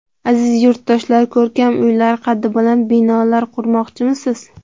Aziz yurtdoshlar, ko‘rkam uylar, qaddi baland binolar qurmoqchimisiz?